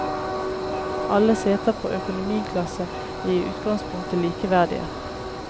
Alle seter på økonomiklasse er i utgangspunktet likeverdige.